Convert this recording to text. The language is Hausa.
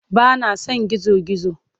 Ba na son gizo-gizo.